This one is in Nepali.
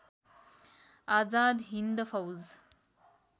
आजाद हिन्द फौज